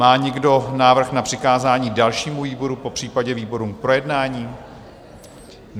Má někdo návrh na přikázání dalšímu výboru, popřípadě výborům k projednání?